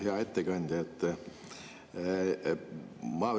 Hea ettekandja!